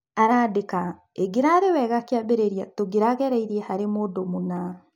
Arandika "... ĩngirari wega kĩambĩrĩria tũngĩrageririe harĩ mũndũũna."